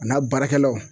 A n'a baarakɛlaw